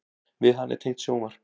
Við hana er tengt sjónvarp.